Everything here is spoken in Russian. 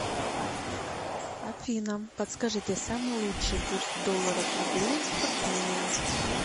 афина подскажите самый лучший курс доллара к рублю туркмения